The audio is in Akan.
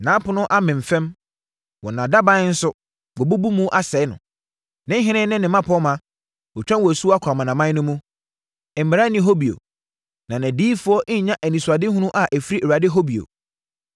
Nʼapono amem fam; wɔn adaban nso, wabubu mu asɛe no. Ne ɔhene ne ne mmapɔmma, watwa wɔn asuo kɔ amanaman no mu, mmara nni hɔ bio, na nʼadiyifoɔ nnnya anisoadehunu a ɛfiri Awurade hɔ bio.